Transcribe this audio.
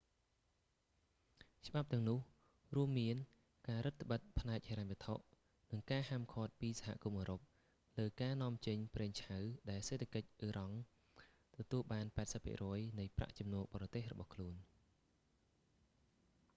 ច្បាប់ទាំងនោះ រួមមានការរឹតត្បិតផ្នែកហិរញ្ញវត្ថុ និងការហាមឃាត់ពីសហគមន៍អ៊ឺរ៉ុបលើការនាំចេញប្រេងឆៅ ដែលសេដ្ឋកិច្ចអ៊ីរ៉ង់ទទួលបាន 80% នៃប្រាក់ចំណូលបរទេសរបស់ខ្លួន